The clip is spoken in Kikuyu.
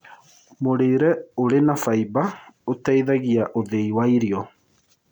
Mũrĩĩre ũrĩ na faĩba ũteĩthagĩa ũthĩĩ wa irio